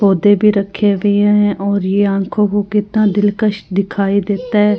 पोधै भी राखे हुए हैं और ये आँखों को कितना दिलकश दिखाइ देता है।